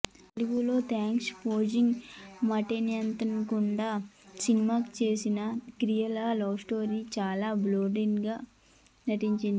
తెలుగులో exposing మాటెత్తకుండా సినిమా చేసేసిన కియారా లస్ట్ స్టోరీస్ చాలా బోల్డ్ గా నటించేసింది